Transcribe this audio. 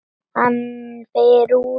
Dóra tók á móti þeim.